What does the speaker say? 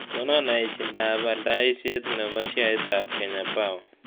Konon aechindap aldaisiet ne po sheaitap kenya power